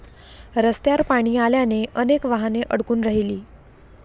रस्त्यावर पाणी आल्याने अनेक वाहने अडकून राहिली.